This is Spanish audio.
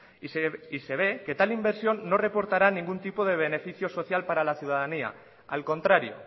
se ve que tal inversión no reportará ningún tipo de beneficio social para la ciudadanía al contrario